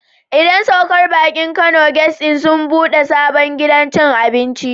Idan saukar baki Kano guest Inn sun ɓude sabon gidan cin abinci.